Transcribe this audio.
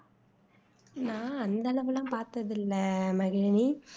நான் அந்த அளவெல்லாம் பாத்தது இல்ல மகிழினி